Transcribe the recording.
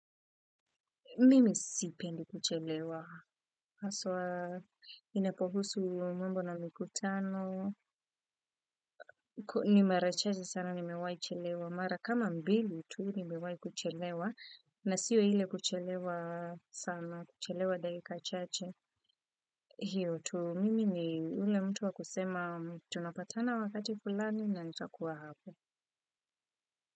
Mimi sipendi kuchelewa, aswa inapohusu mambo na mkutano, ni mara chache sana ni mewai chelewa, mara kama mbili tu ni mewai kuchelewa, na siwe hile kuchelewa sana, kuchelewa dakika chache. Hiyo tu, mimi ni yule mtu wa kusema tunapatana wakati fulani na nitakuwa hapo.